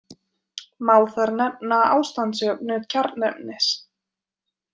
Má þar nefna ástandsjöfnu kjarnefnis.